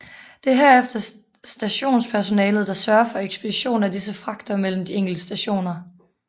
Det er herefter stationspersonalet der sørger for ekspedition af disse fragter mellem de enkelte stationer